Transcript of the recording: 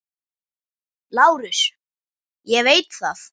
LÁRUS: Ég veit það.